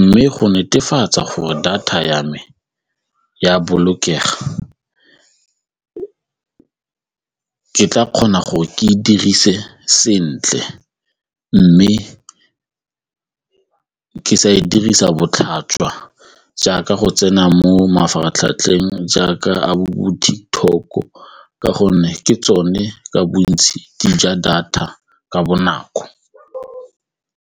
mme go netefatsa gore data ya me e a bolokega, ke tla kgona gore ke e dirise sentle mme ke sa e dirisa botlhaswa jaaka go tsena mo ka mafaratlhatlheng jaaka a ka gonne ke tsone ka bontsi di ja data ka bonako.